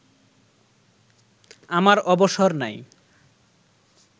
আমার অবসর নাই